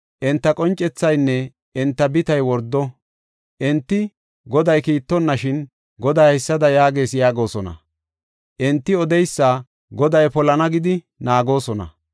Enta qoncethaynne enta bitay wordo. Enti Goday kiittonnashin, Goday haysada yaagees yaagosona. Enti odeysa Goday polana gidi naagoosona.